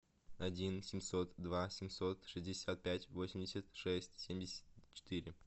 один семьсот два семьсот шестьдесят пять восемьдесят шесть семьдесят четыре